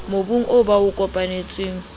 mobung oo ba o kopanetseng